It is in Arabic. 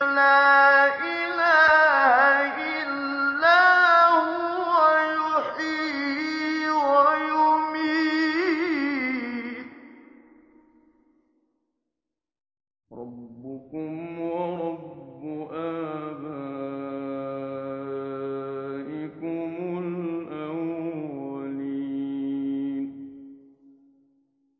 لَا إِلَٰهَ إِلَّا هُوَ يُحْيِي وَيُمِيتُ ۖ رَبُّكُمْ وَرَبُّ آبَائِكُمُ الْأَوَّلِينَ